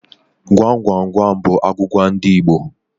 Gwam gwam gwam bụ agwụgwa ndị Igbo.